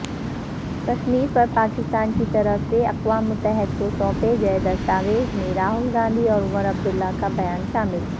کشمیرپرپاکستان کی طرف سےاقوام متحدہ کو سونپے گئے دستاویزمیں راہل گاندھی اورعمرعبداللہ کا بیان شامل